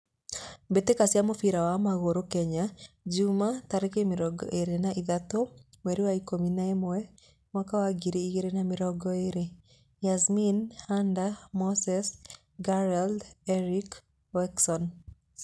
Mbitika cia mũbira wa magũrũ Kenya jumaa, tareki mĩrongo ĩrĩ na ithatũ, mweri wa ikũmi na ĩmwe mwaka wa ngiri ĩgirĩ na mĩrongo ĩrĩ: Yasmin, Hander, Moses, Gerald, Erick, Wikson